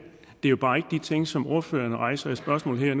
er jo bare ikke de ting som ordføreren rejser i spørgsmål her